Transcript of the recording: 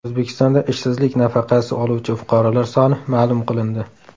O‘zbekistonda ishsizlik nafaqasi oluvchi fuqarolar soni ma’lum qilindi.